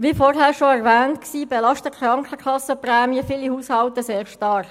Wie bereits erwähnt worden ist, belasten die Krankenkassenprämien viele Haushalte sehr stark.